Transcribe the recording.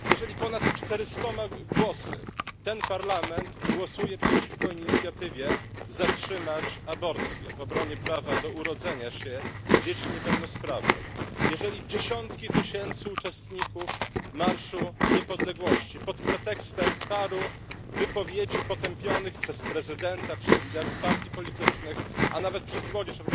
Jeżeli ponad czterystoma głosami ten Parlament głosuje przeciwko inicjatywie Zatrzymać aborcję w obronie prawa do urodzenia się dzieci niepełnosprawnych, jeżeli dziesiątki tysięcy uczestników Marszu Niepodległości pod pretekstem paru wypowiedzi potępionych przez prezydenta, przez liderów partii politycznych, a nawet przez młodzież